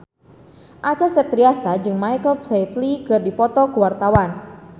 Acha Septriasa jeung Michael Flatley keur dipoto ku wartawan